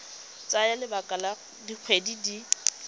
tsaya lebaka la dikgwedi di